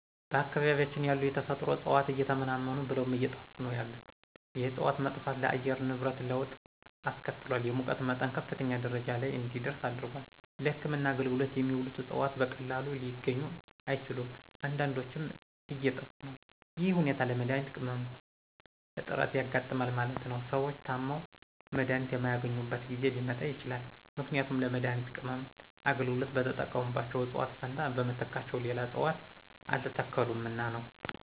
በአካባቢያችን ያሉ የተፈጥሮ እጽዋት እየተመናመኑ ብለውም አየጠፉ ነው ያሉት የእጽዋት መጥፋት ለአየር ንብረት ለወጥ አስከትሏል የሙቀት መጠን ከፍተኛ ደረጃ ለይ እንዲደርስ አድርጓል። ለህክምና አገልግሎት የሚውሉት እጽዋት በቀላሉ ሊገኙ አይችሉም አንዳዶችም እየጠፊ ነው ይህ ሁኔታ ለመድሀኒት ቅመማ እጥረት ያጋጥማል ማለት ነው። ሰዎች ታመው መድሀኒት የማያገኙበት ጊዜ ሊመጣ ይችላል ምክንያቱም ለመድሀኒት ቅመማ አገልግሎት በተጠቀሙባቸው እጽዋት ፈንታ በምትካቸው ሌላ እጽዋት አልተተከሉምና ነው።